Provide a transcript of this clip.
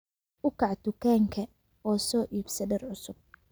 Uu Kaac dukaanka oo soo iibso dhar cusub